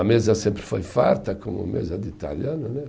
A mesa sempre foi farta, como mesa de italiano né